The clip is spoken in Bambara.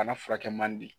Bana furakɛ man di